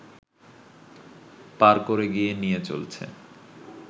পার করে গিয়ে নিয়ে চলছে